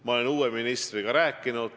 Ma olen uue ministriga rääkinud.